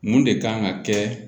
Mun de kan ka kɛ